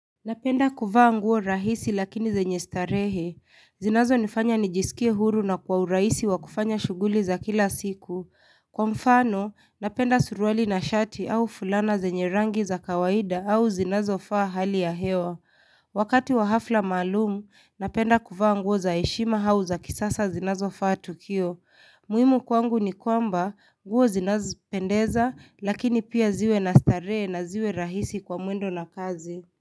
Napenda kuvaa nguo rahisi lakini zenye starehe. Zinazo nifanya nijisikie huru na kwa urahisi wa kufanya shughuli za kila siku. Kwa mfano, napenda suruali na shati au fulana zenye rangi za kawaida au zinazo faa hali ya hewa. Wakati wa hafla maalumu, napenda kuvaa nguo za heshima au za kisasa zinazo faa tukio. Muhimu kwangu ni kwamba, nguo zinazo pendeza lakini pia ziwe na starehe na ziwe rahisi kwa mwendo na kazi.